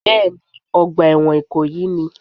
Bẹ́ẹ̀ ni, ọgbà ẹ̀wọ̀n ìkòyí ni